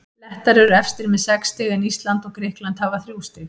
Lettar eru efstir með sex stig en Ísland og Grikkland hafa þrjú stig.